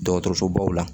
Dɔgɔtɔrɔsobaw la